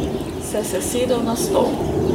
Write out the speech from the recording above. Se sesedel na stol.